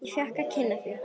Ég fékk að kynnast því.